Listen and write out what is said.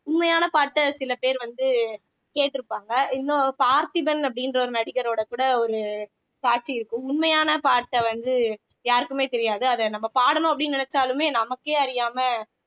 உண்மையான பாட்டை சில பேர் வந்து கேட்டிருப்பாங்க இன்னும் பார்த்திபன் அப்படின்ற ஒரு நடிகரோட கூட ஒரு காட்சி இருக்கும் உண்மையான பாட்டை வந்து யாருக்குமே தெரியாது அத நம்ம பாடணும் அப்படின்னு நினைச்சாலுமே நமக்கே அறியாம